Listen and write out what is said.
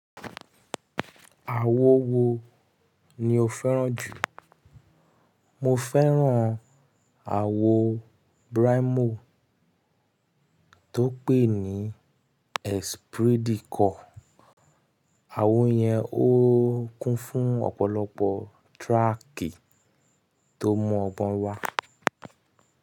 Àwo wo ni o fẹ́ràn jù? Mo fẹ́ràn àwo Braimoh tó pè ní Espidikot. Àwo yẹn ó kún fún ọ̀pọ̀lọpọ̀ tírákì tó mọ́ ọgbọ́n wá.